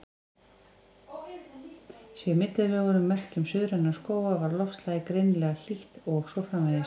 Séu í millilögunum merki um suðræna skóga var loftslagið greinilega hlýtt, og svo framvegis.